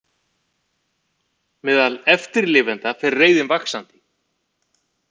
Meðal eftirlifenda fer reiðin vaxandi